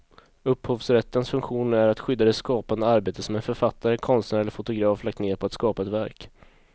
Upphovsrättens funktion är att skydda det skapande arbete som en författare, konstnär eller fotograf lagt ned på att skapa ett verk.